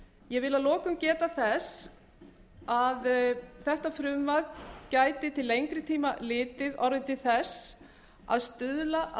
ég vil að lokum geta þess að þetta frumvarp gæti til lengri tíma litið orðið til þess að stuðla að